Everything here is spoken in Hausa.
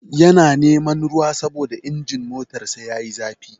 Yana neman ruwa saboda injin motarsa yayi zafi.